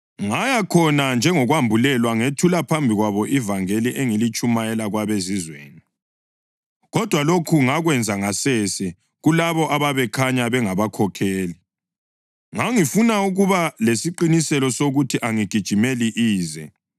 Ngaya khona njengokwambulelwa ngethula phambi kwabo ivangeli engilitshumayela kwabeZizweni. Kodwa lokhu ngakwenza ngasese kulabo ababekhanya bengabakhokheli. Ngangifuna ukuba lesiqiniseko sokuthi angigijimeli ize.